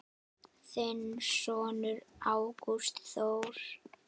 Þinn sonur Ágúst Þór.